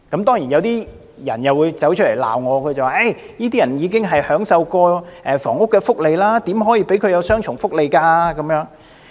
當然有人會站出來指責我，說這些人已經享受過房屋福利，怎可以讓他們享有雙重福利？